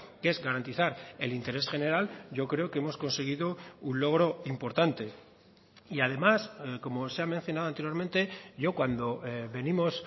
que es garantizar el interés general yo creo que hemos conseguido un logro importante y además como se ha mencionado anteriormente yo cuando venimos